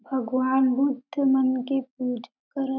भगवान बुद्ध मन के पूजा करत--